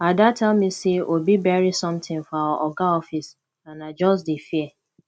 ada tell me say obi bury something for our oga office and i just dey fear